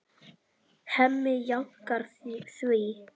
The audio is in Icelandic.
Hemmi jánkar því.